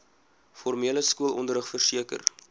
formele skoolonderrig verseker